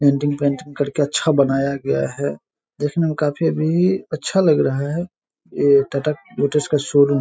Denting painting करके अच्छा बनाया गया है देखने में काफी अभी अच्छा लग रहा है। ये का शोरूम --